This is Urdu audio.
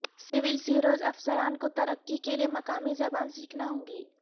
سول سروس افسران کو ترقی کے لیے مقامی زبان سیکھنا ہوگی